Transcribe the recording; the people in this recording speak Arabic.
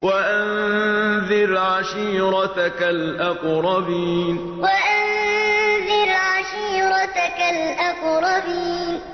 وَأَنذِرْ عَشِيرَتَكَ الْأَقْرَبِينَ وَأَنذِرْ عَشِيرَتَكَ الْأَقْرَبِينَ